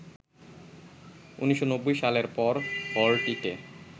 ১৯৯০ সালের পর হলটিতে